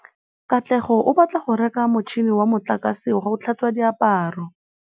Katlego o batla go reka motšhine wa motlakase wa go tlhatswa diaparo.